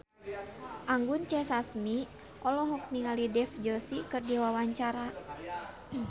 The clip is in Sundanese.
Anggun C. Sasmi olohok ningali Dev Joshi keur diwawancara